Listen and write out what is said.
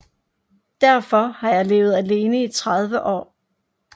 Derfor har jeg levet alene i 30 år